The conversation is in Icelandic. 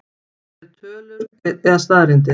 Eru til tölur eða staðreyndir?